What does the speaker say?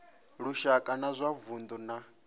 lushaka na wa vundu na